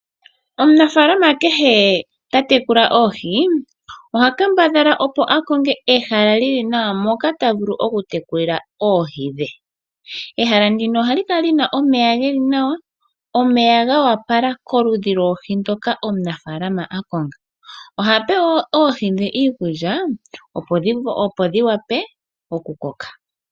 Omunafaalama kehe ta tekula oohi oha kambadhala opo akonge ehala lili nawa moka ta vulu okutekulila oohi dhe. Ehala ndino ohali kala lina omeya geli nawa, omeya go opala koludhi lwoohi ndoka omunafaalama akonga. Ohape wo oohi dhe iikulya opo dhi vule okukoka.